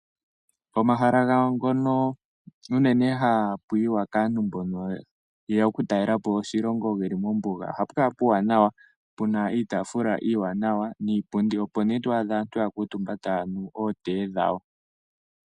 Pomahala gawo ngono unene hapu yiwa kaantu mbono ye ya okutalela po oshilongo ge li mombuga ohapu kala puuwanawa. Pu na iitaafula iiwanawa niipundi, opo nee to adha aantu ya kuutumba taya nu ootee dhawo.